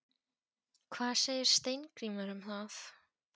Hvað segir Steingrímur um það?